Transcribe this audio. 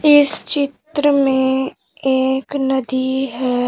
इस चित्र में एक नदी है।